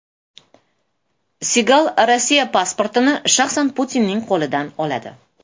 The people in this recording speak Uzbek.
Sigal Rossiya pasportini shaxsan Putinning qo‘lidan oladi.